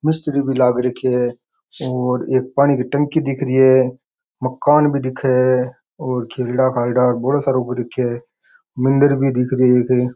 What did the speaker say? मिस्त्री भी लाग रखयो है और एक पानी की टंकी दिख रही है मकान भी दिखे है और खेलड़ा खाल्डा बौला सारा ऊब दिखे मंदिर भी दिख रही है एक।